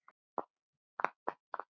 Mælirðu þá með lífrænu fæði?